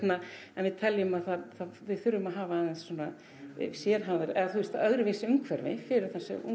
en við teljum að við þurfum að hafa aðeins svona sérhæfðari eða þú veist öðruvísi umhverfi fyrir